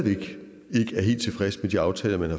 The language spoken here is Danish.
aftale med eu